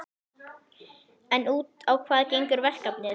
En út á hvað gengur verkefnið?